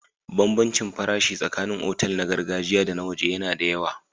Bambancin farashi tsakanin otal na gargajiya da na waje yana da yawa.